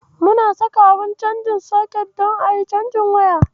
Muna saka abun caji a jikin socket don ayi cajin waya.